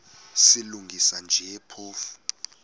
silungisa nje phofu